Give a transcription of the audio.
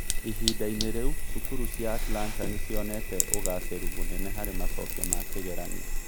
Ihinda-inĩ rĩu, cukuru cia Atlanta nĩ cionete ũgaacĩru mũnene harĩ macokio ma kĩgeranio.